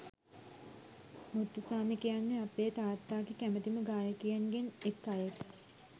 මුත්තුසාමි කියන්නෙ අපේ තාත්තාගේ කැමතිම ගායකයින් ගෙන් එක අයෙක්